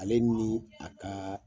Ale nin a ka